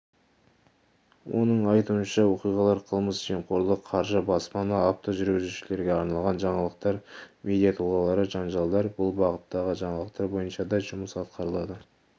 оның айтуынша оқиғалар қылмыс жемқорлық қаржы баспана автожүргізушілерге арналған жаңалықтар медиа тұлғалары жанжалдар бұл бағыттағы жаңалықтар бойынша да жұмыс атқарылады